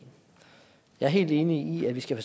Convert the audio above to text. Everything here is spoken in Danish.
jeg er helt enig i at vi skal